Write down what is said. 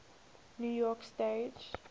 new york stage